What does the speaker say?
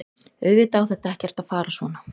Auðvitað á þetta ekkert að fara svona.